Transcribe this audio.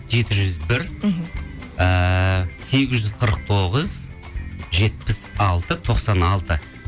жеті жүз бір мхм ыыы сегіз жүз қырық тоғыз жетпіс алты тоқсан алты